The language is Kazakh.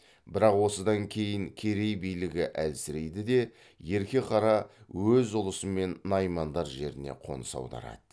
бірақ осыдан кейін керей билігі әлсірейді де ерке қара өз ұлысымен наймандар жеріне қоныс аударады